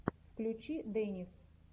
включи дэнис